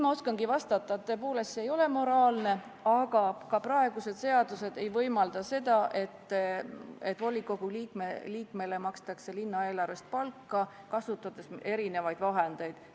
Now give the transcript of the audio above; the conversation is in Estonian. Ma oskangi vastata nii, et see tõepoolest ei ole moraalne, aga ka praegused seadused ei võimalda seda, et volikogu liikmele makstakse linnaeelarvest palka, kasutades erinevaid vahendeid.